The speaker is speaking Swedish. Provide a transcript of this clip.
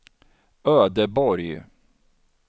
Ödeborg